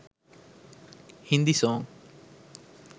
hindi song